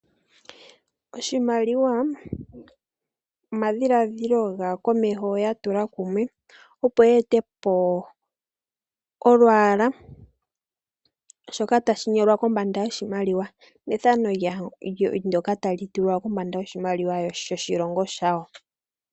Oshimaliwa omadhiladhilo gaakomeho yatula kumwe opo yeetepo shoka tashi nyolwa kombanda yoshimaliwa nefano ndyoka tali tulwa kombanda yoshimaliwa yoshilongo shayo.